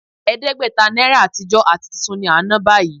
Ẹ̀ẹ́dẹ́gbẹ̀ta náírà àtijọ́ àti tuntun ni à ń ná báyìí